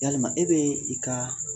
Yalima e be i ka